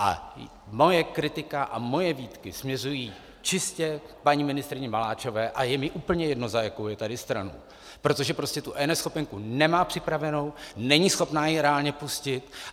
A moje kritika a moje výtky směřují čistě k paní ministryni Maláčové a je mi úplně jedno, za jakou je tady stranu, protože prostě tu eNeschopenku nemá připravenou, není schopná ji reálně pustit.